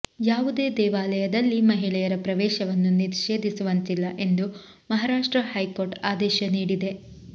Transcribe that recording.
ಯಾವುದೇ ದೇವಾಲಯದಲ್ಲಿ ಮಹಿಳೆಯರ ಪ್ರವೇಶನ್ನು ನಿಷೇಧಿಸುವಂತಿಲ್ಲ ಎಂದು ಮಹಾರಾಷ್ಟ್ರ ಹೈಕೋರ್ಟ್ ಆದೇಶ ನೀಡಿದೆ